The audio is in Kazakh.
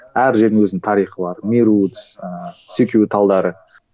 әр жерінің өзінің тарихы бар меруц ыыы секью талдары